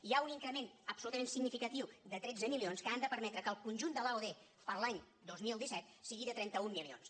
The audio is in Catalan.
hi ha un increment absolutament significatiu de tretze milions que han de permetre que el conjunt de l’aod per a l’any dos mil disset sigui de trenta un milions